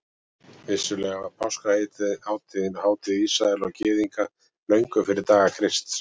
Vissulega var páskahátíðin hátíð Ísraela og Gyðinga löngu fyrir daga Krists.